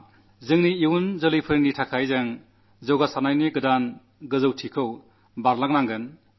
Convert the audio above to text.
നമ്മുടെ ഭാവി തലമുറയ്ക്കുവേണ്ടി നമുക്ക് വിസകനത്തിന്റെ പുതിയ ഉയരങ്ങൾ താണ്ടേണ്ടതുണ്ട്